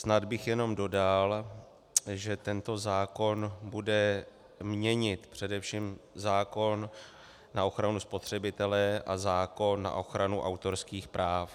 Snad bych jenom dodal, že tento zákon bude měnit především zákon na ochranu spotřebitele a zákon na ochranu autorských práv.